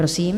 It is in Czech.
Prosím.